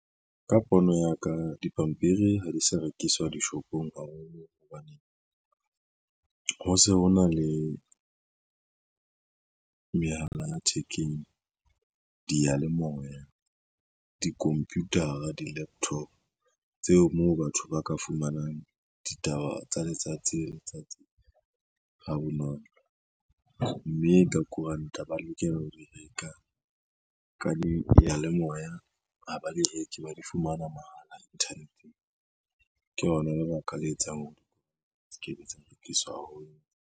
Ka pono ya ka dipampiri ha di sa rekiswa dishopong haholo hobane ho se ho na le mehala ya thekeng diyalemoya di-computer-a, di-laptop tseo moo batho ba ka fumanang ditaba tsa letsatsi le letsatsi ha bonolo mme ka koranta ba lokela ho di reka ka diyalemoya ha ba di reke ba di fumana mahala inthaneteng ke lona lebaka le etsang hore di se kebe tsa rekiswa haholo.